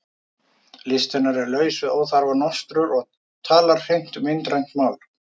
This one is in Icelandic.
List hennar er laus við óþarfa nostur og talar hreint myndrænt mál.